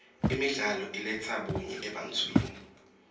imidlalo iletsa bunye ebantfwini